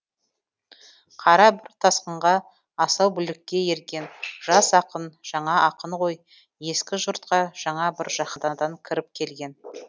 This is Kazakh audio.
қара бір тасқынға асау бүлікке ерген жас ақын жаңа ақын ғой ескі жұртқа жаңа бір жаһанадан кіріп келген